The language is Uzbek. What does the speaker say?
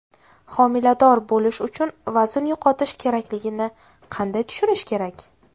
Homilador bo‘lish uchun vazn yo‘qotish kerakligini qanday tushunish kerak?